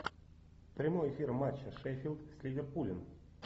прямой эфир матча шеффилд с ливерпулем